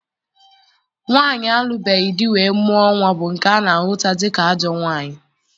Nwaanyị alụbeghị di wee mụọ nnwa bụ nke ana ahụta dịka ajọ nwaanyị